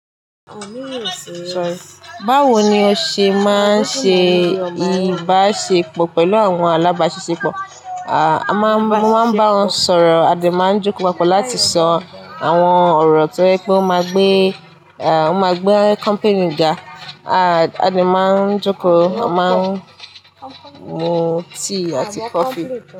Báwo ni o ṣe máa ń ṣe ìbáṣepọ̀ pẹ̀lú àwọn alábáṣepọ̀? A máa ń bá wọn sọ̀rọ̀, a sì máa ń jókòó papọ̀ láti sọ àwọn ọ̀rọ̀ tó lè mú gbé company ga. A máa ń jókòó, a máa ń mú tíì àti kọfí.